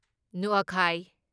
ꯅꯨꯑꯈꯥꯢ